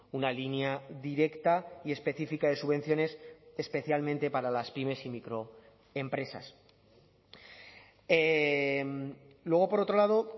una línea directa y específica de subvenciones especialmente para las pymes y micro empresas luego por otro lado